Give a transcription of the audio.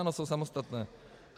Ano, jsou samostatné.